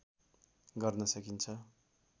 गर्न सकिन्छ